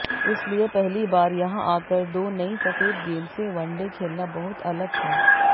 इसलिए पहली बार यहां आकर दो नई सफेद गेंद से वनडे खेलना बहुत अलग था